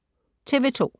TV 2